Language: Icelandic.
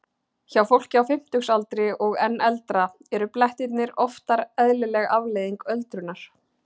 Hjá fólki á fimmtugsaldri og enn eldra eru blettirnir oftar eðlileg afleiðing öldrunar.